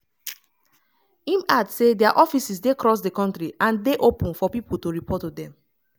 im add say dia offices dey cross di kontri and dey open for pipo to report to dem.